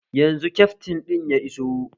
Yanzu kyaftin ɗin ya iso